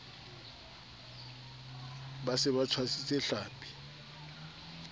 ba se ba tshwasitse tlhapi